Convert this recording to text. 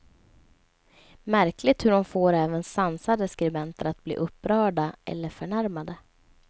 Märkligt hur hon får även sansade skribenter att bli upprörda eller förnärmade.